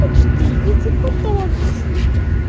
почти я тебе потом объясню